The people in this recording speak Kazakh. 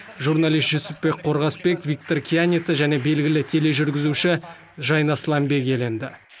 журналист жүсіпбек қорғасбек виктор кияница және белгілі тележүргізуші жайна сләмбек иеленді